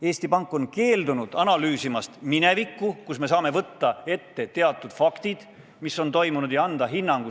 Eesti Pank on keeldunud analüüsimast minevikku, võttes ette teatud faktid, et anda toimunule hinnang.